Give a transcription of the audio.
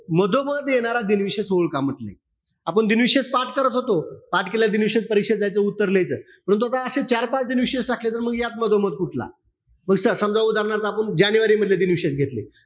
मधोमध येणारा दिनविशेष ओळख म्हंटले. आपण दिनविशेष पाठ करत होतो, पाठ केलेलं दिनविशेष परीक्षेत जायचं, उत्तर लिहायचं. परंतु आता असे चार-पाच दिनविशेष टाकले, तर मग या मधोमध कुठला? समजा उदारणार्थ आपण जानेवारी मधील दिनविशेष घेतले.